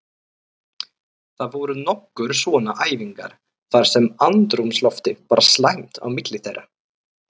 Það voru nokkrar svona æfingar þar sem andrúmsloftið var slæmt á milli þeirra.